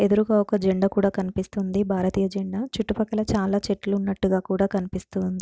ఎదురుగా ఒక జెండా కూడా కనిపిస్తోంది భారతీయ జెండా. చుట్టుపక్కల చాలా చెట్లు ఉన్నట్టుగా కూడా కనిపిస్తూ ఉంది.